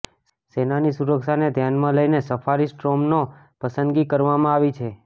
સેનાની સુરક્ષાને ધ્યાનમાં લઇને સફારી સ્ટોર્મનો પસંદગી કરવામાં આવી છે